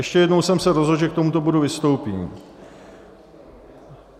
Ještě jednou jsem se rozhodl, že k tomuto bodu vystoupím.